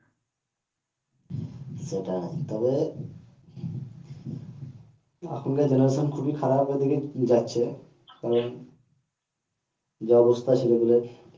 সেটাই তবে এখনকার জেনারেশন খুবই খারাপের দিকে যাচ্ছে কারণ যা অবস্থা ছেলে পেলের